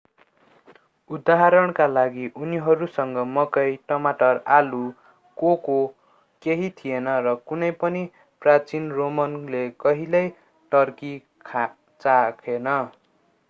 उदाहरणका लागि उनीहरूसँग मकै टमाटर आलु कोको केही थिएन र कुनै पनि प्राचीन रोमनले कहिल्यै टर्की चाखेन